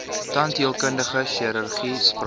tandheelkundige chirurgie spraak